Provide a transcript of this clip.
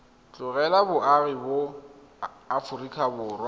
tlogela boagi ba aforika borwa